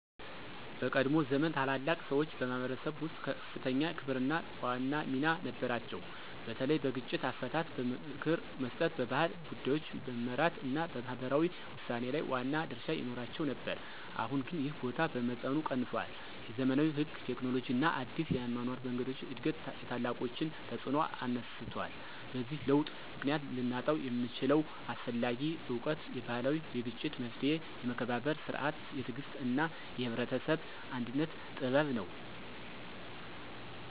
በቀድሞ ዘመን ታላላቅ ሰዎች በማኅበረሰብ ውስጥ ከፍተኛ ክብርና ዋና ሚና ነበራቸው፤ በተለይ በግጭት አፈታት፣ በምክር መስጠት፣ በባህል ጉዳዮች መመራት እና በማህበራዊ ውሳኔ ላይ ዋና ድርሻ ይኖራቸው ነበር። አሁን ግን ይህ ቦታ በመጠኑ ቀንሷል፤ የዘመናዊ ሕግ፣ ቴክኖሎጂ እና አዲስ የአኗኗር መንገዶች እድገት የታላቆችን ተፅዕኖ አነስቷል። በዚህ ለውጥ ምክንያት ልናጣው የምንችለው አስፈላጊ እውቀት የባህላዊ የግጭት መፍትሔ፣ የመከባበር ሥርዓት፣ የትዕግሥት እና የህብረተሰብ አንድነት ጥበብ ነው።